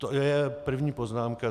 To je první poznámka.